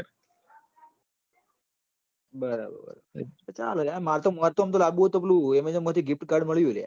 બરાબર ચાલ લાયા માર તો મોચોમ થી લાંબુ હોય તો પેલું amazon મોથી giftcards મળું હ લાયા